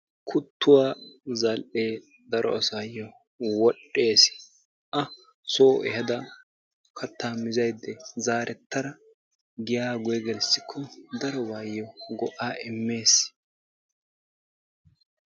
Kuttuwa zall"ee daro asaayyo wodhdhes. A soo ehaada kattaa mizada zaarettada giyaa guyye gelissikko darobaayyo go"aa immes.